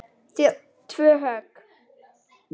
Síðan tvö högg.